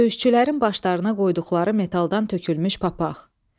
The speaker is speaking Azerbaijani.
Döyüşçülərin başlarına qoyduqları metaldan tökülmüş papaq.